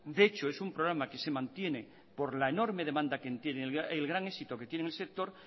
de hecho es un programa que se mantiene por la enorme demanda que tiene el gran éxito que tiene en el sector